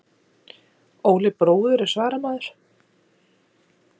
Óli bróðir er svaramaður.